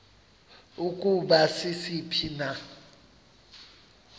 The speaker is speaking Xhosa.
ukuba sisiphi na